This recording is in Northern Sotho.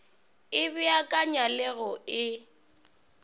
e beakanya le go e